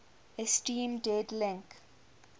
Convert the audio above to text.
esteem dead link